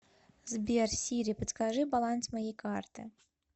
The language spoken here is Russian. сбер сири подскажи баланс моей карты